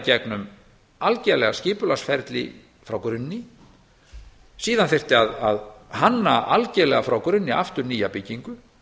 gegnum algerlega skipulagsferli frá grunni síðan þyrfti að hanna algerlega frá grunni aftur nýja byggingu